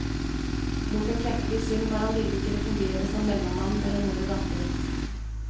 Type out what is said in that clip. Mot en klekkelig sum var han villig til å fungere som mellommann mellom mor og datter.